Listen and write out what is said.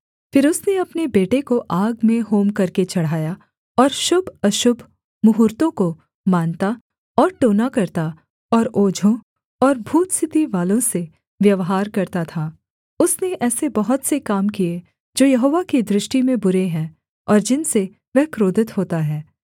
फिर उसने अपने बेटे को आग में होम करके चढ़ाया और शुभअशुभ मुहूर्त्तों को मानता और टोना करता और ओझों और भूत सिद्धिवालों से व्यवहार करता था उसने ऐसे बहुत से काम किए जो यहोवा की दृष्टि में बुरे हैं और जिनसे वह क्रोधित होता है